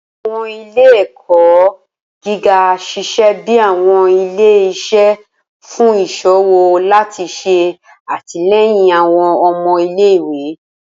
Awọn ile-ẹkọ giga ṣiṣẹ bi awọn ile-iṣẹ fun iṣowo lati ṣe atilẹyin awọn ọmọ ile-iwe.